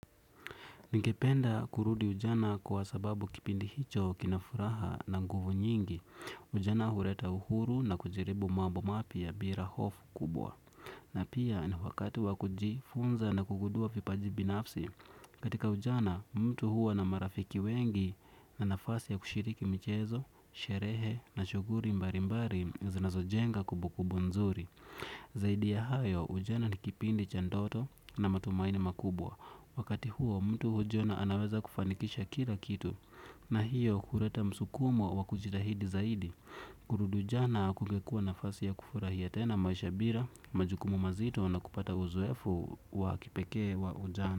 Ningependa kurudi ujana kwa sababu kipindi hicho kinafuraha na nguvu nyingi, ujana hureta uhuru na kujirebu mabomapiya birahofu kubwa. Na pia na wakati wa kujifunza na kugundua vipaji binafsi katika ujana mtu huwa na marafiki wengi na nafasi ya kushiriki michezo, sherehe na shughuli mbali mbali zinazojenga kumbukumbu nzuri. Zaidi ya hayo, ujana ni kipindi cha ndoto na matumaini makubwa. Wakati huo mtu hujiona anaweza kufanikisha kila kitu. Na hiyo huleta msukumo wa kujitahidi zaidi. Kurudi jana kungekua nafasi ya kufurahia tena maisha bila, majukumu mazito na kupata uzoefu wa kipekee wa ujana.